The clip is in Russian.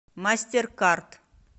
мастеркард